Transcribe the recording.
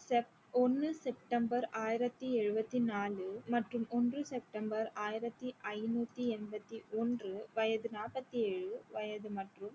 sep~ ஒன்னு september ஆயிரத்தி எழுவத்தி நாலு மற்றும் ஒன்று september ஆயிரத்தி ஐநூத்தி என்பத்தி ஒன்று வயது நாபத்தி ஏழு வயது மற்றும்